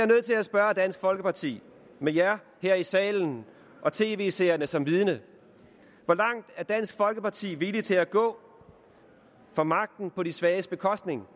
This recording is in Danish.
nødt til at spørge dansk folkeparti med jer her i salen og tv seerne som vidne hvor langt er dansk folkeparti villige til at gå for magten på de svages bekostning